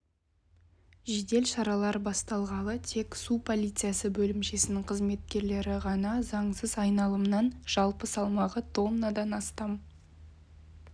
жедел шаралар басталғалы тек су полициясы бөлімшесінің қызметкерлері ғана заңсыз айналымнан жалпы салмағы тоннадан астам